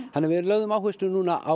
við lögðum áherslu núna á